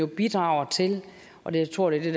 bidrager til og jeg tror det er